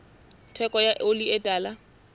theko ya oli e tala